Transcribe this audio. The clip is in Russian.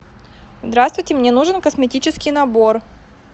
здравствуйте мне нужен косметический набор